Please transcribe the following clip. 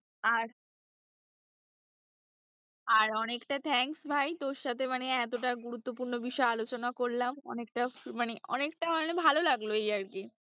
আর আর অনেকটা thanks ভাই তোর সাথে মানে এতটা গুরুত্বপূর্ণ বিষয়ে আলোচনা করলাম অনেকটা মানে অনেকটা মানে ভালো লাগলো এই আর কি,